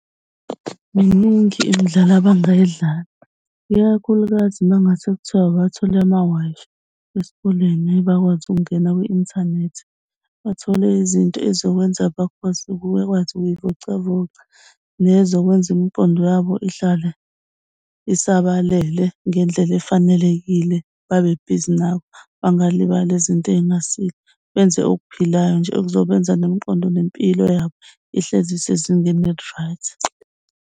Miningi imidlalo abangayidlala ikakhulukazi mangase kuthiwa abathole ama-Wi-Fi esikoleni bakwazi ukungena kwi-inthanethi, bathole izinto ezizokwenza bakwazi ukuyivocavoca nezokwenza imqondo yabo ihlale isabalele ngendlela efanelekile. Babe bhizi nabo, bangalibali izinto ey'ngasile. Benze okuphilayo nje ekuzobenza nemiqondo nempilo yabo ihlezi isezingeni eli-right.